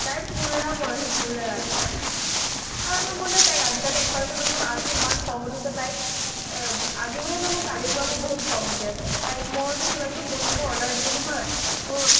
তাইৰ পুৰা মন আছে, পুৰা আৰু নহয় মোৰ নহয় তাই ক আজিকালি এক percent তো মোৰ নহয় । আজি ইমান খং উঠিছে তাইক আ আজি বুলি নহয় মোৰ কালিৰ পৰা মোৰ বহুত খং উঠি আছে । তাই ক মই যদি কিবা কিবি বস্তুবোৰ order দিওঁ নহয়, মোৰ